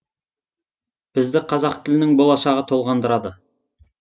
бізді қазақ тілінің болашағы толғандырады